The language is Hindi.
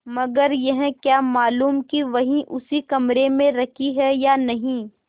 मगर यह क्या मालूम कि वही उसी कमरे में रखी है या नहीं